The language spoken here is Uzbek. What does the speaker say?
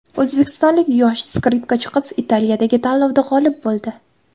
O‘zbekistonlik yosh skripkachi qiz Italiyadagi tanlovda g‘olib bo‘ldi.